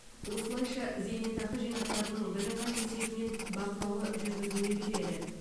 осылайша зейнетақы жинақтарының бірыңғай есебі мен бақылауы жүргізіле береді